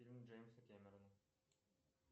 фильмы джеймса кэмерона